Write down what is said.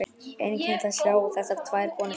Einkennilegt að sjá þessar tvær konur saman.